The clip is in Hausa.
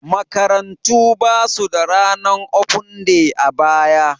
Makarantu ba su da ranar ofen day a baya.